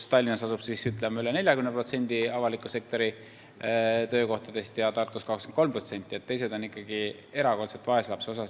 Tallinnas asub üle 40% avaliku sektori töökohtadest ja Tartus 23%, teised on ikkagi vaeslapse osas.